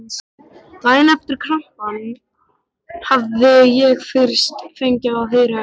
Daginn eftir krampann hafði ég fyrst fengið að heyra um